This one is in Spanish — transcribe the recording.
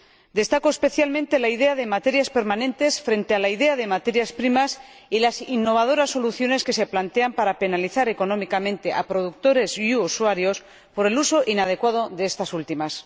Destaco especialmente la idea de materias permanentes frente a la idea de materias primas y las innovadoras soluciones que se plantean para penalizar económicamente a productores y usuarios por el uso inadecuado de estas últimas.